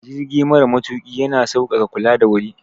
Jirgi mara matuƙi ya na sauƙaƙa kula da wuri.